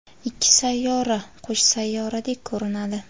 ikki sayyora qo‘sh sayyoradek ko‘rinadi.